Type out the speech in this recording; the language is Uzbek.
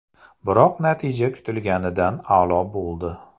Biroq natija kutilganidan a’lo bo‘ldi.